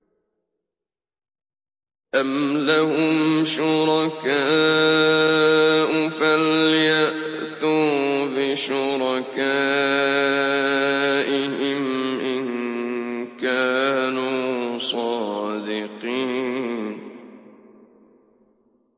أَمْ لَهُمْ شُرَكَاءُ فَلْيَأْتُوا بِشُرَكَائِهِمْ إِن كَانُوا صَادِقِينَ